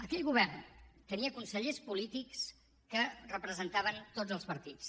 aquell govern tenia consellers polítics que representaven tots els partits